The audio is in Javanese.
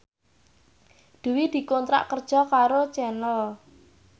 Dwi dikontrak kerja karo Channel